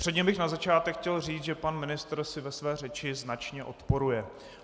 Předně bych na začátek chtěl říct, že pan ministr si ve své řeči značně odporuje.